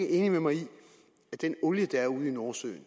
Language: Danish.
enig med mig i at den olie der er ude i nordsøen